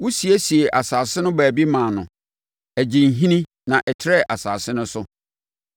Wosiesiee asase no baabi maa no, ɛgyee nhini na ɛtrɛɛ asase no so.